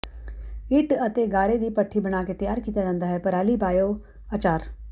ਇੱਟ ਅਤੇ ਗਾਰੇ ਦੀ ਭੱਠੀ ਬਣਾ ਕੇ ਤਿਆਰ ਕੀਤਾ ਜਾਂਦਾ ਹੈ ਪਰਾਲੀ ਬਾਇਓ ਅਚਾਰ